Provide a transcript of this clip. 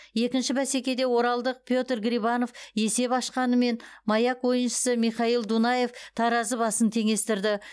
екінші бәсекеде оралдық петр грибанов есеп ашқанымен маяк ойыншысы михаил дунаев таразы басын теңестірді